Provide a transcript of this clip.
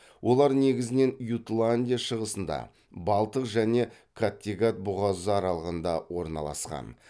олар негізінен ютландия шығысында балтық және каттегат бұғазы аралығында орналасқан